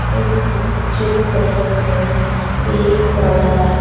इस चित्र में एक बड़ा--